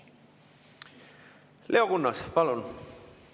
Leo Kunnas, palun!